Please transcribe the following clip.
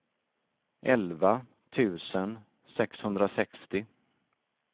elva tusen sexhundrasextio